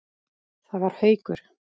Það var Haukur.